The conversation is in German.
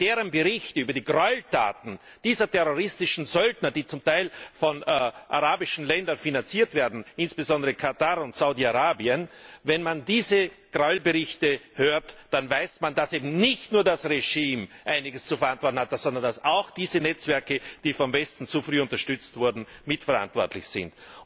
Und wenn man sich deren Berichte über die Gräueltaten dieser terroristischen Söldner anhört, die zum Teil von arabischen Ländern finanziert werden, insbesondere von Katar und Saudi Arabien, dann weiß man, dass eben nicht nur das Regime einiges zu verantworten hat, sondern dass auch diese Netzwerke, die vom Westen zu früh unterstützt wurden, mitverantwortlich sind.